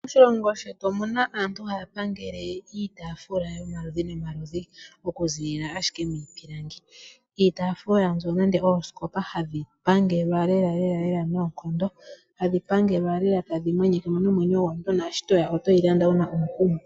Moshilongo shetu omu na aantu haya pangele iitafula yomaludhi nomaludhi okuzilila ashike miipilangi. Iitafula nenge oosikopa ndho hadhi pangelwa lelalela noonkondo hadhi pangelwa lela tadhi mwenyekemo nomwenyo gwomuntu naashi toya otoyi landa wu na omukumo.